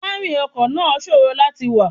Sítẹ́rìnì ọkọ̀ náà ṣòro láti wà.